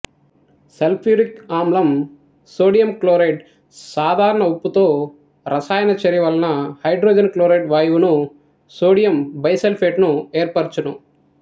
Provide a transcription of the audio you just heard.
sulphuric ఆమ్లం sodium క్లోరైడ్సాధారణ ఉప్పుతో రసాయనచర్య వలన హైడ్రోజన్ క్లోరైడ్ వాయువును సోడియం బైసల్ఫేట్ ను ఏర్పరచును